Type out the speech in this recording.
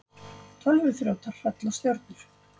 Tölvuþrjótar hrella stjörnur